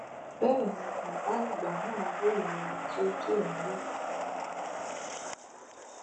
bẹ́ẹ̀ ni bàbá àgbà náà ròyìn ohun tójú ẹ rí